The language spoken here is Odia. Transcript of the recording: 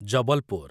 ଜବଲପୁର